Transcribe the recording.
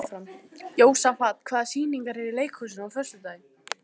Jósafat, hvaða sýningar eru í leikhúsinu á föstudaginn?